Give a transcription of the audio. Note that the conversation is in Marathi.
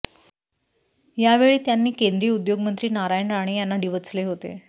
यावेळी त्यांनी केंद्रीय उद्योगमंत्री नारायण राणे यांना डिवचले होते